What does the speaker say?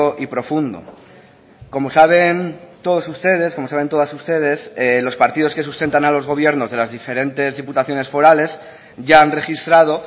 y profundo como saben todos ustedes como saben todas ustedes los partidos que sustentan a los gobiernos de las diferentes diputaciones forales ya han registrado